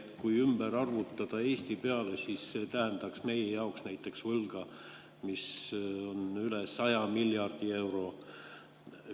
Kui ümber arvutada Eesti peale, siis see tähendaks meie jaoks näiteks võlga, mis on üle 100 miljardi euro.